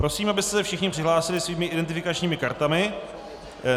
Prosím, abyste se všichni přihlásili svými identifikačními kartami.